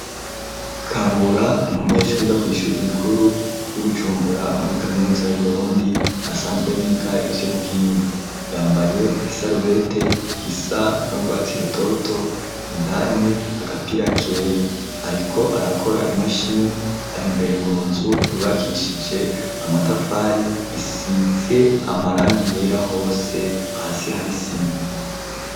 Kabura n'umunyeshure yiga kw'ishure rikuru ry'ibujumbura muri kaminuza y'Iburundi asanzwe yiga ivy'ubuhinga. Yambaye isarubete isa n'urwatsi rutoto indani agapira kera ,ariko arakora imashini ari imbere mu nzu ryubakishije amatafari ,isize amarangi yera hose hasi hari isima